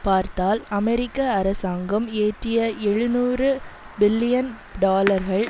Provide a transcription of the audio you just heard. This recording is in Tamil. பார்த்தால் அமெரிக்க அரசாங்கம் இயற்றிய எழுநூறு பில்லியன் டாலர்கள்